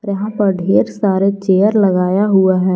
यहां पर ढेर सारे चेयर लगाया हुआ है।